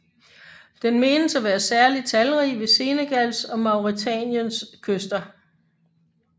Den menes at være særlig talrig ved Senegals og Mauretaniens kyster